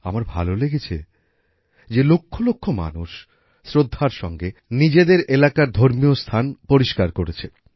আমার ভালো লেগেছে যে লক্ষলক্ষ মানুষ শ্রদ্ধার সঙ্গে নিজেদের এলাকার ধর্মীয় স্থান পরিষ্কার করেছে